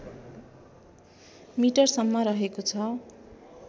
मिटरसम्म रहेको छ